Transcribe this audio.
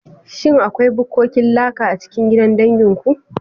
Shin akwai bukkokin laka a cikin gidan dangin ku?